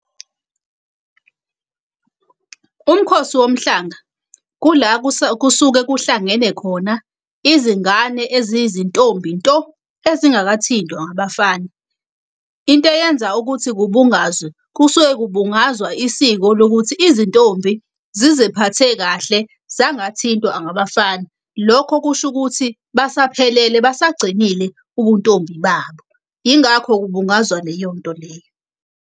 Umkhosi womhlanga kula kusuke kuhlangene khona izingane eziyizintombi nto ezingakathintwa ngabafana. Into eyenza ukuthi kubungazwe, kusuke kubungazwa isiko lokuthi izintombi zizephathe kahle zangathintwa ngabafana. Lokho kusho ukuthi basaphelele, basagcinile ubuntombi babo. Yingakho kubungazwa leyo nto leyo.